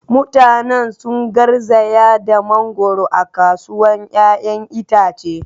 Mutanen sun garzaya da mangoro a kasuwar 'ya'yan itace.